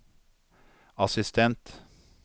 assistent